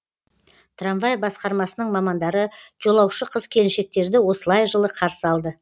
трамвай басқармасының мамандары жолаушы қыз келіншектерді осылай жылы қарсы алды